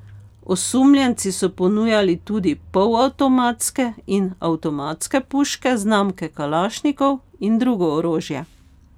Osumljenci so ponujali tudi polavtomatske in avtomatske puške znamke kalašnikov in drugo orožje.